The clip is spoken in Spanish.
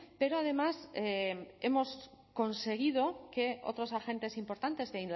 pero además hemos conseguido que otros agentes importantes de